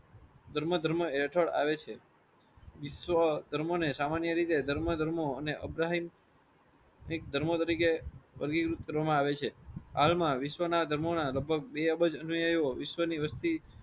ધર્મ ધર્મ એઠળ આવે છે. વિશ્વ ધર્મોને સામાન્ય રિતે ધર્મો ધર્મો અને અફગાહીન ધર્મો તરીકે વર્ગીકૃત કરવામાં આવે છે. વિશ્વ ના ધર્મોના લગભગ બે અબજ અને વિશ્વ ની વસ્તી